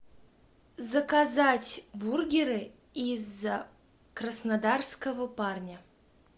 заказать бургеры из краснодарского парня